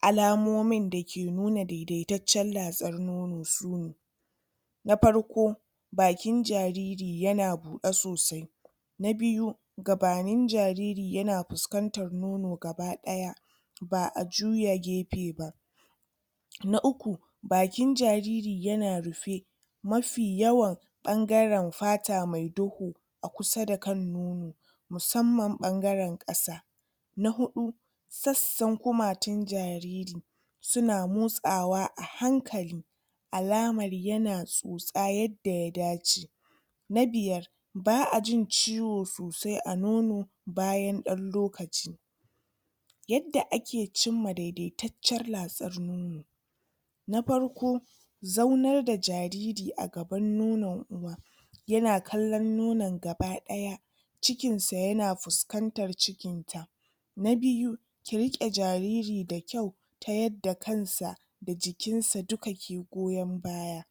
alamomin da ke nuna daidaitaccen latsar nono sune na farko bakin jariri yana buɗe sosai na biyu gabanin jariri yana fuskantar nono gaba ɗaya ba'a juya jefe ba na uku bakin jariri yana rufe mafi yawan ɓangaren fata me duhu a kusa da kan nono musamman ɓangaren ƙasa na huɗu sassan kumatun jariri suna motsawa a hankali alamar yana tsotsa yadda ya dace na biyar ba'a jin ciwo sosai a nono bayan ɗan lokaci yadda ake cimma daidai taccen latsar nono na farko zaunar da jariri a gaban nonon uwa yana kallon nonon gaba ɗaya cikin sa yana fuskantar cikin sa na biyu ki riƙe jariri da kyau ta yadda kansa da jikin sa duka ke goyon baya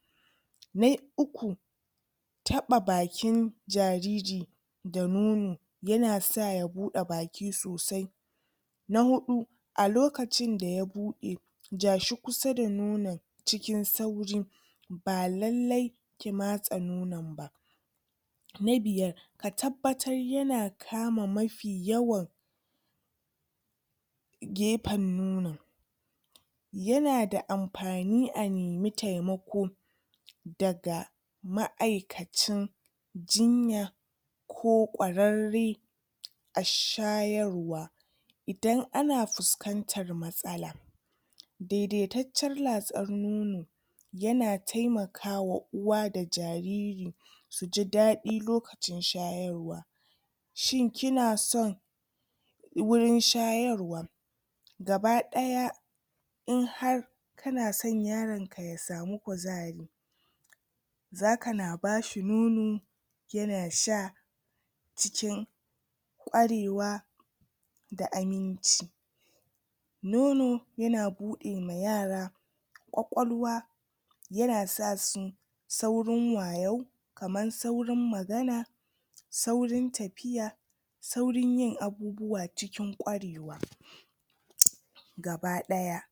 na uku taɓa bakin jariri da nono yana sa ya buɗe baki sosai na huɗu a lokacin daya buɗe ja shi kusa da nonon cikin sauri ba lallai ki matsa nonon ba na biyar ka tabbatar yana kama mafi yawan gefen nonon yana da amfani a nemi taimako daga ma'aikacin jinya ko ƙwararre a shayarwa idan ana fuskantar matsala daidaitaccen latsar nono yana taimakawa uwa da jariri suji daɗi lokacin shayarwa shin kina son gurin shayarwa gaba ɗaya inhar kana so yaron ka ya samu kuzari zaka na bashi nono yana sha cikin ƙwarewa da aminci nono yana buɗe ma yara ƙwaƙwalwa yana sa su saurin wayo kamar saurin magana saurin tafiya saurin yin abubuwa cikin ƙwarewa gaba ɗaya